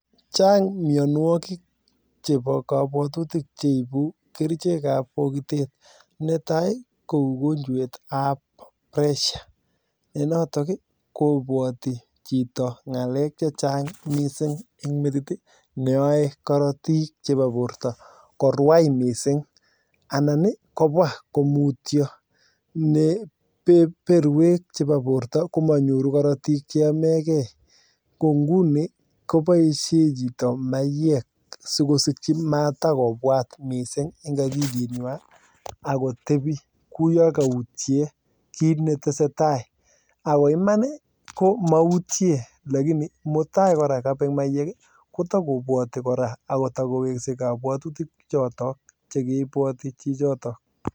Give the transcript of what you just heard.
Chang' mionwogik chebo kobwatutik cheibu kerichek ab bogitet ,netai ko ogonjwet ab pressure ne notok kobwati chito ng'alek chechang' missing en metit neyoe korotik chebo borto korwai mising anan kobwa ko mutyo ne berwek chebo borto komonyiru korotik cheyomegen ko inguni koboisien chito maywek sikosikyi matakobwat missing en ogilinywan akotebi kou yon koutyen kiit netesetai, ako iman ii komoutyen lagini mutai kora kobek maywek ii kotakobwati kora ak kotokowekse kobwatutik choton chekoibwoti chichotok.